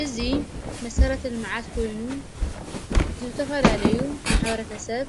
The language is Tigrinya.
እዙ መሠረትን መዓት ኮይኑ ዝብተፈላለዩ ማኅበረተ ሰብ